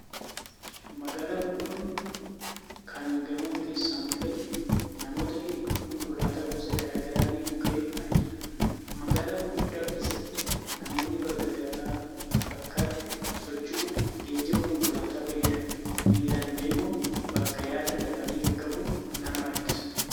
Magaalaa guddoo kan gamoon keessaa mul'atu, namoota hedduu, konkolaattota gosa gara garaa fi mukkeen argina. Magaalaa gurguddaa keessatti namoonni bakka gara bakkaatti socho'uuf geejjiba konkolaataa fayyadamu. Miilaan deemuun bakka yaadan dafanii qaqqabuun nama rakkisa.